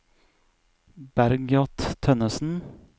Bergljot Tønnessen